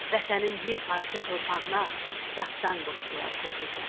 Vətənin bir parça torpağına dastan qoşdular o gecə.